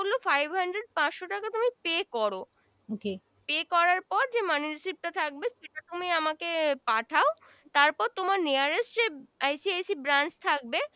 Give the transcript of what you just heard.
বলল five hundred পাচশো টাকা pay করো pay করার পর money recieved টা থাকবে সেটা তুমি আমাকে পাঠাও তারপর তোমার nearest যে ICICbranch থাকবে